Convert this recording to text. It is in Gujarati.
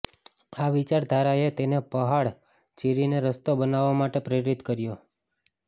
આ વિચારધારાએ તેને પહાડ ચીરીને રસ્તો બનાવવા માટે પ્રેરિત કર્યો